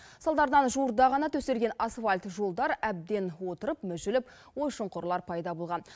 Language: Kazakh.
салдарынан жуырда ғана төселген асфальт жолдар әбден отырып мүжіліп ой шұңқырлар пайда болған